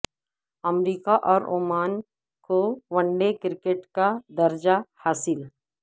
امریکہ اور عمان کو one day cricket کا درجہ حاصل